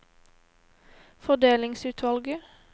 fordelingsutvalget